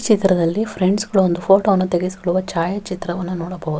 ಈ ಚಿತ್ರದಲ್ಲಿ ಫ್ರೆಂಡ್ಸ್ ಗಳು ಓ ಒಂದು ಫೋಟೋವನ್ನು ತೆಗೆದುಕೊಳ್ಳುವ ಛಾಯಾ ಚಿತ್ರವನ್ನು ನೋಡಬಹುದು.